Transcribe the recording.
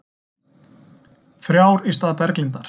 Þrjár í stað Berglindar